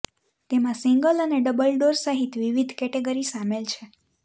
તેમાં સિંગલ અને double door સહિત વિવિધ કેટેગરી સામેલ છે